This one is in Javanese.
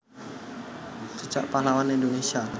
Jejak Pahlawan Indonésia